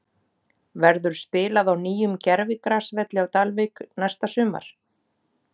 Verður spilað á nýjum gervigrasvelli á Dalvík næsta sumar?